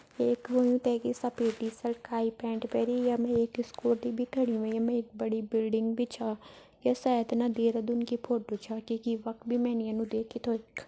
एक होयूँ तै की सपेद टी सर्ट काई पैन्ट पैरि। य मे एक इस्कूटी बि खड़ि हुईं। य मे एक बड़ी बिल्डिंग बि छ। ये सायद ना देरादून की फोटो छ। क्यूंकि वख बि मेनि यनु देखि थो।